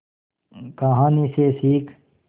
कहानी से सीख